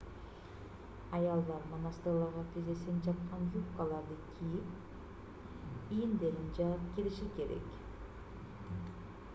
аялдар монастырларга тизесин жапкан юбкаларды кийип ийиндерин жаап кириши керек